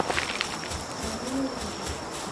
отражение зла